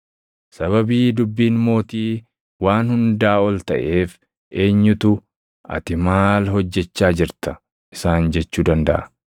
Sababii dubbiin mootii waan hundaa ol taʼeef eenyutu, “Ati maal hojjechaa jirta?” isaan jechuu dandaʼa?